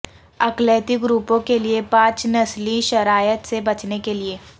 اقلیتی گروپوں کے لئے پانچ نسلی شرائط سے بچنے کے لئے